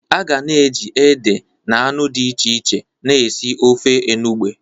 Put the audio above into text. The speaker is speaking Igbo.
A ga na-eji ede na anu di iche iche na esi ofe enugbe.